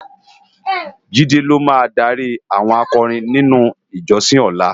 Jide ló má dári áwòn ákòrin ninú ijòsin òlá